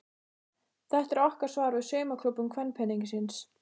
Þetta er okkar svar við saumaklúbbum kvenpeningsins.